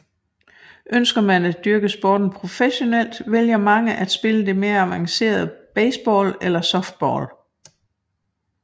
Ønsker man at dyrke sporten professionelt vælger mange at spille det mere avancerede baseball eller softball